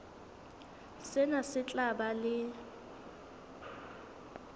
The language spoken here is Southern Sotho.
sena se tla ba le